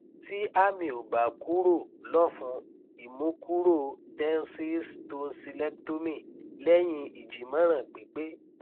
ti ami o ba kuro lofun imukuro tensils tonsilectomy lehin ijimoran pipe